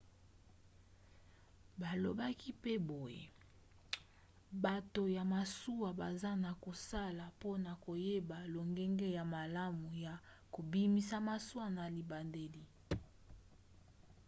balobaki pe boye bato ya masuwa baza na kosala mpona koyeba lolenge ya malamu ya kobimisa masuwa na libateli